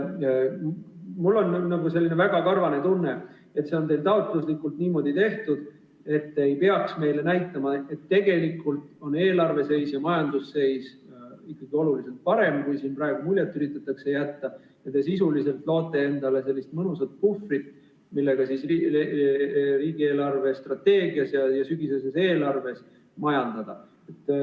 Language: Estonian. Mul on selline väga karvane tunne, et see on teil taotluslikult niimoodi tehtud, et te ei peaks meile näitama, et tegelikult on eelarve seis ja majanduse seis ikkagi oluliselt paremad, kui siin praegu muljet üritatakse jätta, ja te sisuliselt loote endale sellist mõnusat puhvrit, millega riigi eelarvestrateegias ja sügiseses eelarves majandada.